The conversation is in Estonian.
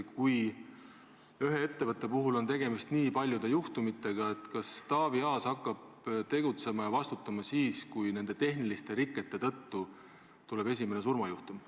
Kui ühe ettevõtte puhul on tegemist nii paljude juhtumitega, kas Taavi Aas hakkab tegutsema ja vastutama siis, kui nende tehniliste rikete tõttu tuleb esimene surmajuhtum?